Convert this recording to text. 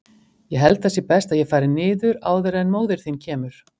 Ég held að það sé best að ég fari áður en að móðir þín kemur.